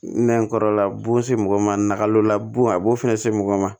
Nɛn kɔrɔla bon se mɔgɔ ma na olu la bon a b'o fɛnɛ se mɔgɔ ma